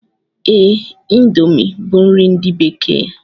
Ee, índomi bu nri ndi bekee